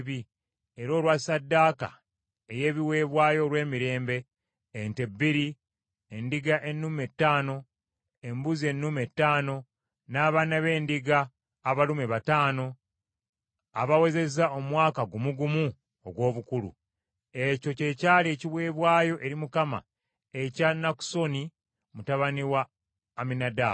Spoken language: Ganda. era olwa ssaddaaka ey’ebiweebwayo olw’emirembe: ente bbiri, endiga ennume ttaano, embuzi ennume ttaano, n’abaana b’endiga abalume bataano abawezezza omwaka gumu gumu ogw’obukulu. Ekyo kye kyali ekiweebwayo eri Mukama ekya Nakusoni mutabani wa Amminadaabu.